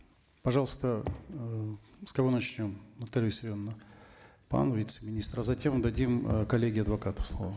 пожалуйста э с кого начнем наталья виссарионовна вам вице министру затем дадим э коллегии адвокатов слово